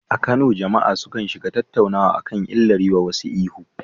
A Kano, jama’a sukan shiga tattaunawa kan illar yiwa wasu ihu.